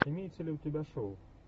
имеется ли у тебя шоу